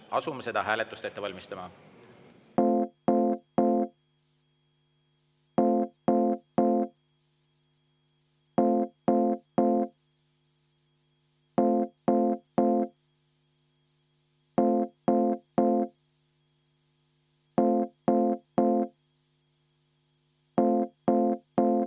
Asume seda hääletust ette valmistama.